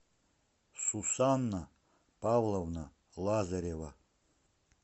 сусанна павловна лазарева